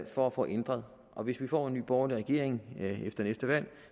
for at få ændret og hvis vi får en ny borgerlig regering efter næste valg